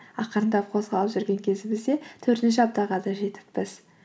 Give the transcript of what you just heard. ақырындап қозғалып жүрген кезімізде төртінші аптаға да жетіппіз